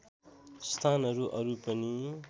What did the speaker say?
स्थानहरू अरू पनि